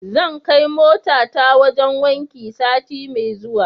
Zan kai motata wajen wanki sati mai zuwa.